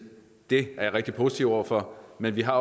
det er jeg rigtig positiv over for men vi har